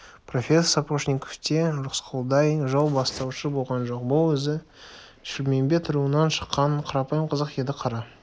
профессор сапожниковте рысқұлдай жол бастаушы болған жоқ бұл өзі шілмембет руынан шыққан қарапайым қазақ еді қара